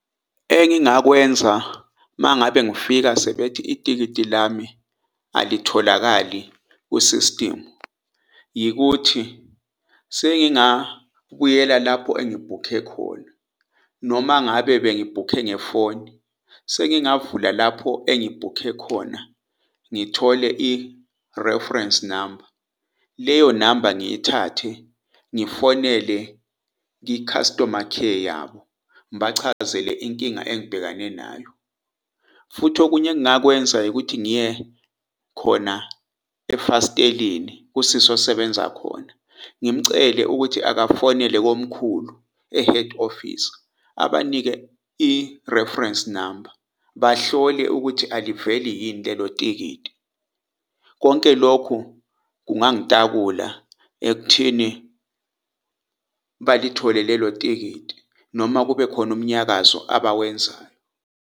Engingakwenza mangabe ngifika sebethi itikiti lami alitholakali kwi-system yikuthi sengingabuyela lapho engibhukhe khona noma ngabe bengibhukhe ngefoni sengingavula lapho engibhukhe khona, ngithole i-reference number leyo namba ngiyithathe, ngifonele i-customer care yabo, ngibachazele inkinga engibhekane nayo. Futhi okunye engingakwenza ukuthi ngiye khona efas'teleni kusisi osebenza khona. Ngimcele ukuthi akafonele komkhulu e-head office, abanike i-reference number bahlole ukuthi aliveli yini lelo tikiti. Konke lokhu kungangitakula ekuthini balithole lelo tikiti noma kube khona umnyakazo abawenzayo.